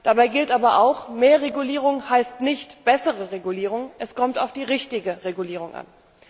Dabei gilt aber auch Mehr Regulierung heißt nicht bessere Regulierung, es kommt auf die richtige Regulierung an!